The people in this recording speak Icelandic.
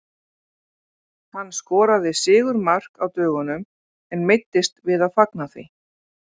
Hann skoraði sigurmark á dögunum en meiddist við að fagna því.